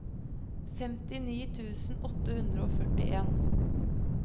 femtini tusen åtte hundre og førtien